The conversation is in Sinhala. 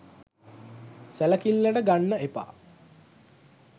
සැලකිල්ලට ගන්න එපා.